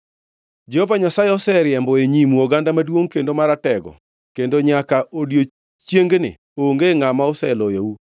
“Jehova Nyasaye oseriembo e nyimu oganda maduongʼ kendo maratego; kendo nyaka odiechiengni onge ngʼama oseloyou.